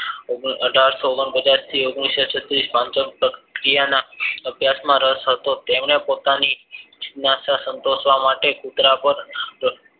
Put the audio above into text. અઢાર સો ઓગણપચાસ થી ઓગણીસો છત્રીસ પ્રક્રિયાના રસ હતો તેમને પોતાની જિજ્ઞાસા સંતોષવા માટે કુતરા પાર